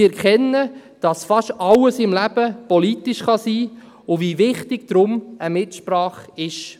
Sie erkennen, dass fast alles im Leben politisch sein kann und wie wichtig deshalb eine Mitsprache ist.